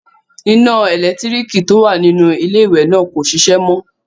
Iná ẹlẹ́lẹ̀tíríkì tó wà nínú iléwẹ̀ náà kò ṣiṣẹ́ mọ.